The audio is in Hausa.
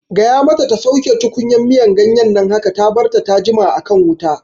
Gaya mata ta ta sauke tukunyar miyan ganyen nan haka! Ta barta ta jima a kan wuta